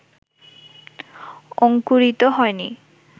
অঙ্কুরিত হয় নি